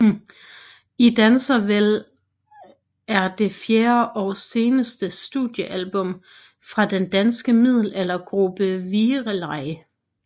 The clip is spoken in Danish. I danser vel er det fjerde og seneste studiealbum fra den danske middelaldergruppe Virelai